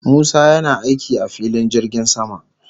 Musa yana aiki a filin jirgin sama